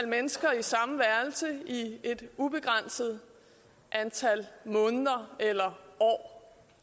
mennesker i samme værelse i et ubegrænset antal måneder eller år